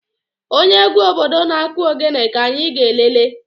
Onye egwu obodo na-kụ ogene ka anyi ga lelee.